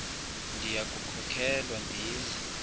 ndiya kukhokelwa ndize